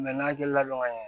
n'a hakili la k'a ɲɛ